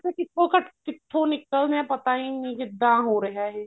ਕਿੱਥੋ ਘੱਟ ਕਿੱਥੋ ਨਿਕਲਦੇ ਹਾਂ ਪਤਾ ਹੀ ਨੀ ਕਿੱਦਾਂ ਹੋ ਰਿਹਾ ਏ